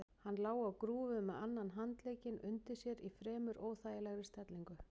Hann lá á grúfu með annan handlegginn undir sér í fremur óþægilegri stellingu.